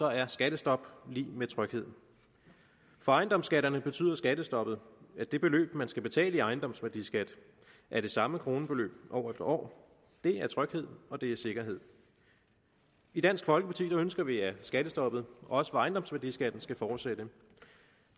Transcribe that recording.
er skattestop lig med tryghed for ejendomsskatterne betyder skattestoppet at det beløb man skal betale i ejendomsværdiskat er det samme kronebeløb over et år det er tryghed og det er sikkerhed i dansk folkeparti ønsker vi at skattestoppet også for ejendomsværdiskatten skal fortsætte